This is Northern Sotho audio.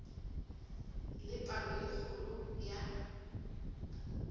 le palo e kgolo ya